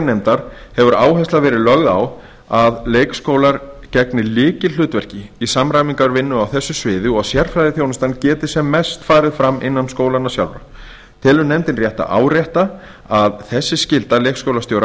nefndar hefur áhersla verið lögð á að leik og grunnskólar gegni lykilhlutverki í samræmingarvinnu á þessu sviði og að sérfræðiþjónustan geti farið sem mest fram innan skólanna sjálfra telur nefndin rétt að árétta að þessi skylda leikskólastjóra